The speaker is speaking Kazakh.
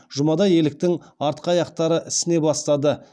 жұмада еліктің артқы аяқтары ісіне бастады